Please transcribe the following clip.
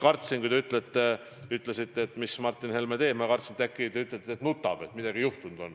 Kui te ütlesite, mida Martin Helme teeb, siis ma kartsin, et äkki te ütlete, et ta nutab, et midagi on juhtunud.